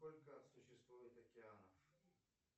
сколько существует океанов